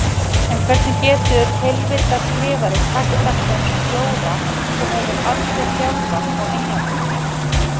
En hvernig getur heilvita skrifari sagt þetta um stjóra sem hefur aldrei þjálfað á Englandi?